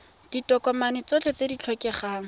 ditokomane tsotlhe tse di tlhokegang